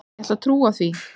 Ég ætla að trúa því.